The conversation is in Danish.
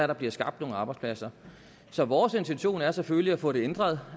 der bliver skabt nogle arbejdspladser så vores intention er selvfølgelig at få det ændret